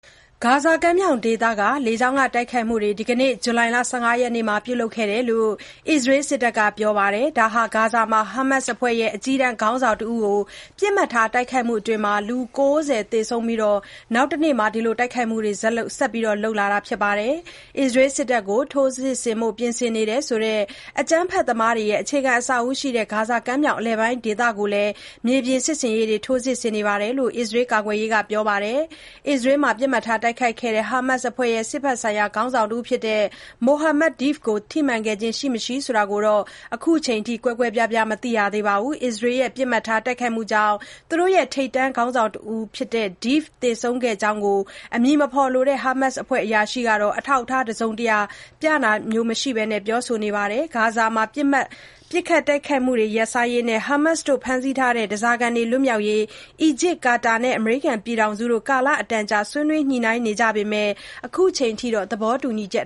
ဂါဇာကမ်းမြောင်ဒေသတလျှောက် လေကြောင်းကတိုက်ခိုက်မှုတွေ ဒီကနေ့ ဇူလိုင်လ ၁၅ ရက်နေ့မှာ ပြုလုပ်ခဲ့ကြောင်း အစ္စရေးစစ်တပ်က ပြောပါတယ်။ ဒါဟာ ဂါဇာမှာ ဟာမတ်စ်အဖွဲ့ အကြီးတန်းခေါင်းဆောင်တဦးကို ပစ်မှတ်ထား တိုက်ခိုက်မှုအတွင်း လူ ၉၀ သေဆုံးခဲ့ရပြီး နောက်တနေ့မှာ အခုလို တိုက်ခိုက်မှုတွေ ဆက်လုပ်လာတာပါ။ အစ္စရေးစစ်တပ်ကို ထိုးစစ်ဆင်ဖို့ ပြင်ဆင်နေတယ်ဆိုတဲ့ အကြမ်းဖက်သမားတွေရဲ့ အခြေခံအဆောက်အဦတွေရှိရာ ဂါဇာကမ်းမြောင် အလယ်ပိုင်းဒေသတွေကိုလည်း မြေပြင်စစ်ဆင်ရေးတွေ ထိုးစစ်ဆင်နေကြောင်း အစ္စရေး ကာကွယ်ရေးဌာနက ပြောပါတယ်။ အစ္စရေးက Khan Yunis မှာ ပစ်မှတ်ထား တိုက်ခိုက်ခဲ့တဲ့ ဟာမတ်စ်အဖွဲ့ စစ်ဘက်ဆိုင်ရာ ခေါင်းဆောင်တဦးဖြစ်သူ Mohammad Deif ဆိုသူ ထိမှန်ခဲ့ခြင်း ရှိမရှိဆိုတာကိုတော့ အခုချိန်ထိ ကွဲကွဲပြားပြား မသိရသေးပါဘူး။ အစ္စရေးရဲ့ ပစ်မှတ်ထား တိုက်ခိုက်မှုကြောင့် သူတို့ရဲ့ ထိပ်တန်းခေါင်းဆောင်တဦးဖြစ်သူ Deif သေဆုံးခဲ့ကြောင်း အမည်မဖော်လိုတဲ့ ဟာမတ်စ်အဖွဲ့အရာရှိက အထောက်အထား တစုံတရာပြဆိုခြင်းမရှိဘဲ ပြောဆိုနေပါတယ်။ ဂါဇာမှာ ပစ်ခတ်တိုက်ခိုက်မှုတွေ ရပ်ဆိုင်းရေးနဲ့ ဟာမတ်စ်က ဖမ်းဆီးထားတဲ့ ဓားစာခံတွေ ပြန်လွှတ်ပေးရေးတို့အတွက် အီဂျစ်၊ ကာတာနဲ့ အမေရိကန်ပြည်ထောင်စုတို့ ကာလအတန်ကြာ ဆွေးနွေး ညှိနှိုင်းနေကြပေမယ့် အခုချိန်ထိ သဘောတူညီချက်